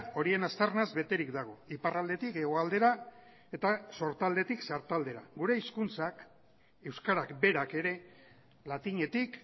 horien aztarnaz beterik dago iparraldetik hegoaldera eta sortaldetik sartaldera gure hizkuntzak euskarak berak ere latinetik